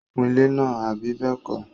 ó kun ilẹ́ náà, àbí bẹ́ẹ̀kọ́?